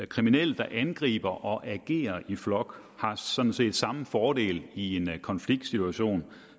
kriminelle der angriber og agerer i flok har sådan set samme fordel i en konfliktsituation